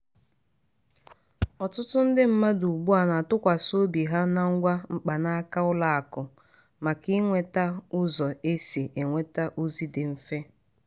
ọtụtụ ndị mmadụ ugbu a na-atụkwasị obi ha na ngwa mkpanaka ụlọ akụ maka inweta ụzọ e si enweta ozi dị mfe.